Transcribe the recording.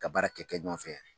Ka baara kɛ ɲɔgɔn fɛ